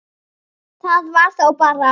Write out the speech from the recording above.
Það var þá bara